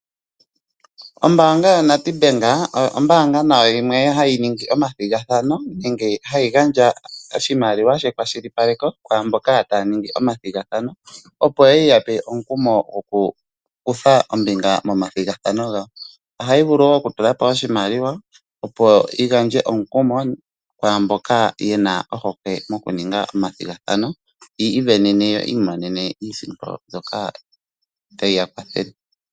Ombaanga yoNedbank oyo ombaanga yimwe nayo hayi ningi omathigathano nenge hayi gandja oshimaliwa shekwashilipaleko kwaa mboka taya ningi omathigathano, opo ye ya pe omukumo gokukutha ombinga momathigathano gawo. Ohayi vulu wo okutula po oshimaliwa, opo yi gandje omukumo kwaa mboka ye na ohokwe yokuninga omathigathano yi isindanene yo yi imonene iisimpo mbyoka tayi ya kwathele.